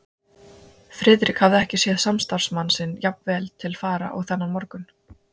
Friðrik hafði ekki séð samstarfsmann sinn jafn vel til fara og þennan morgun.